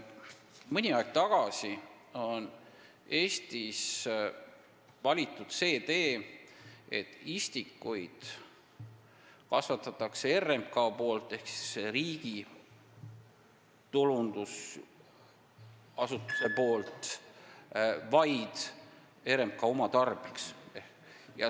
Mõni aeg tagasi valiti Eestis see tee, et istikuid kasvatab RMK ehk riigi tulundusasutus vaid oma tarbeks.